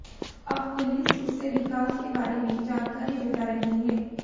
अब पुलिस उससे विकास के बारे में जानकारी जुटा रही है